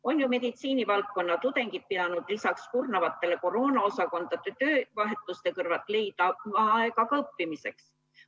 On ju meditsiinitudengid pidanud kurnavate koroonaosakondade töövahetuste kõrval leidma aega ka õppimiseks.